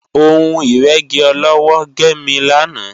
Ohun ìrẹ́gi ọlọ́wọ́ gé mi lánàá